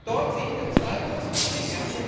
Dort sehen wir zwei große Probleme.